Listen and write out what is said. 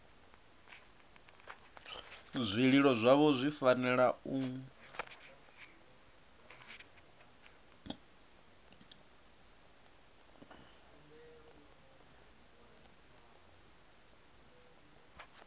zwililo zwavho zwi fanela u